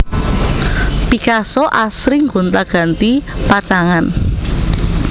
Picasso asring gonti ganti pacangan